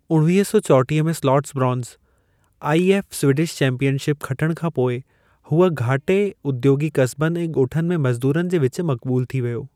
उणवीह सौ चौटीह में स्लॉट्सब्रॉन्स, आईएफ स्वीडिश चैंपियनशिप खटणु खां पोइ हूअ घाटे उद्योगी कस्बनि ऐं गो॒ठनि में मज़दूरनि जे विच मक़बूलु थी वियो।